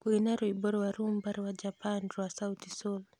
Kũina rwĩmbo rwa rumba rwa Japan rwa sauti sol